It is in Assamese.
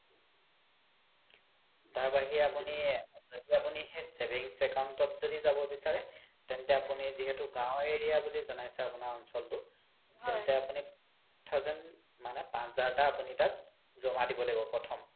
তাৰ বাহিৰে আপোনি যদি আপোনি সেই savings account ত যদি জাব বিচাৰে তেন্তে আপোনি যিহেতু গাও area বুলি জনাইছে আপোনাৰ অঞ্চলতো তেন্তে আপোনি five thousand মানে পাচ হাজাৰ তকা আপোনি তাত জ্মা দিব লাগিব তাত প্ৰথম